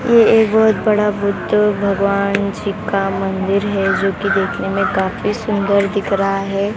ये एक बहुत बड़ा बुद्ध भगवान जी का मंदिर है जो की देखने में काफी सुंदर दिख रहा है।